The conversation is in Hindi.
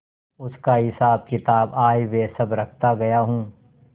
उसका हिसाबकिताब आयव्यय सब रखता गया हूँ